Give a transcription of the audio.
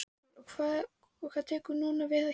Haukur: Og hvað tekur núna við hjá ykkur?